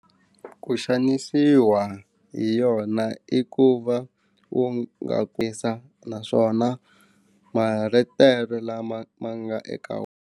Ku xanisiwa hi yona i ku va u nga naswona maletere lama ma nga eka .